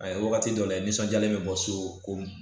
A ye wagati dɔ layɛ nisɔndiyalen bɛ bɔ so ko